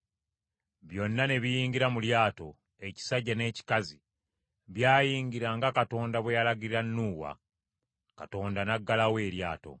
Byonna ne biyingira mu lyato, ekisajja n’ekikazi; byayingira nga Katonda bwe yalagira Nuuwa, Mukama n’aggalawo eryato.